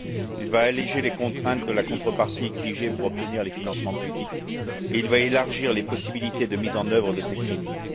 Il va alléger les contraintes de la contrepartie exigée pour obtenir les financements publics et il va élargir les possibilités de mise en œuvre de ces crédits.